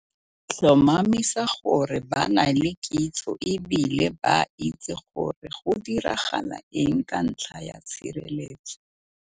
Tlhomamisa gore ba na le kitso e bile ba itse gore go diragala eng ka ntlha ya tshireletso.